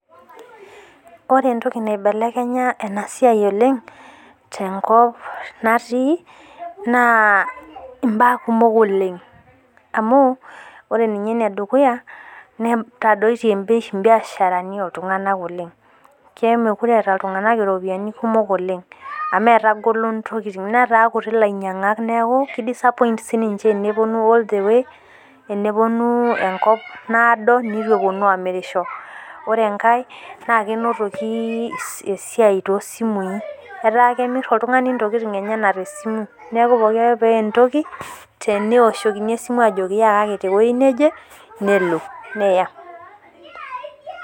Ore entoki naibelekenya ena siai oleng' tenkop naati naa inaa kukok oleng' amu ore ninye Ene dukuya, netadoitie ii biashara ni oo ltung'ana oleng'. Mekure eeta oltung'ana iropiani kukok oleng' amu etagolo intokitin Neeta kutik ilainyang'ak neeku ki disappoint sii niche tenepuonu all the way nepuonubenkoitoi naado netu epuonu amirisho. Ore enkar naa kenotoku esidai too simu in. Etaa kemir oltung'ana intokin the simu. Neeku pookin Ake pemir entoki tenoshokini esimu ajoki yakaki te weji neje nelo neya.